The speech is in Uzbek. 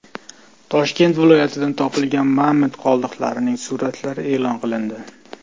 Toshkent viloyatidan topilgan mamont qoldiqlarining suratlari e’lon qilindi.